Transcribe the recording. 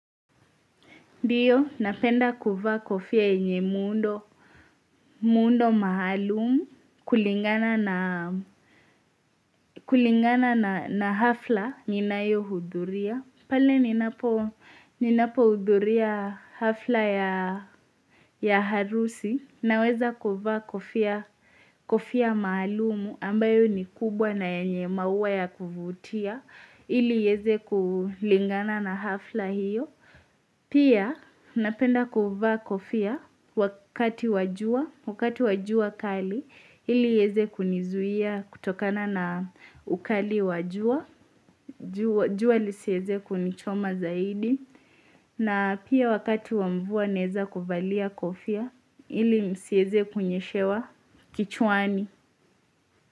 Diyo, napenda kuvaa kofia yenye muundo maalumu kulingana na hafla ninayohuduria. Pale ninapohuduria hafla ya harusi naweza kuvaa kofia kofia maalumu ambayo ni kubwa na yenye maua ya kuvutia ili ieze kulingana na hafla hiyo. Pia napenda kuva kofia wakati wa jua, wakati wa jua kali ilieze kunizuia kutokana na ukali wa jua, jua lisieze kunichoma zaidi na pia wakati wa mvua nezakuvalia kofia ili msieze kunyeshewa kichuani.